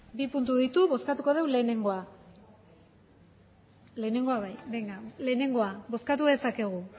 bale bi puntu ditu bozkatuko dugu lehenengoa bozkatu dezakegu